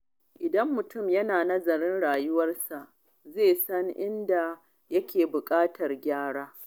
Idan mutum yana nazarin rayuwarsa, zai san inda yake buƙatar gyara.